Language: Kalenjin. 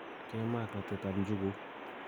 Ke maa ak ratet ap njuguk